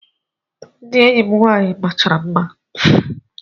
Ndị enyi m nwaanyị dum machara mma